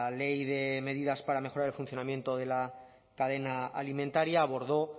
ley de medidas para mejorar el funcionamiento de la cadena alimentaria abordó